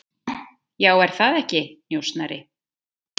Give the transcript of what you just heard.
Já, er það ekki, njósnari?